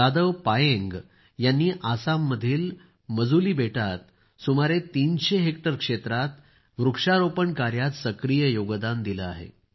जादव पायेंग यांनी आसाममधील माजुली बेटात सुमारे 300 हेक्टर क्षेत्रात वृक्षारोपण कार्यात सक्रिय योगदान दिले आहे